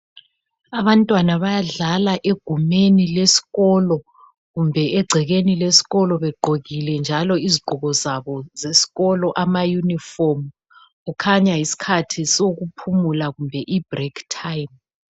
Abantwana bayadlala egumeni leskolo kumbe egcekeni leskolo begqokile njalo izigqoko zabo zeskolo ama yunifomu. Kukhanya yiskhathi sokuphumula kumbe ibrekhi thayimu.